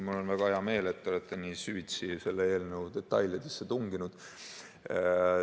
Mul on väga hea meel, et te olete nii süvitsi selle eelnõu detailidesse tunginud.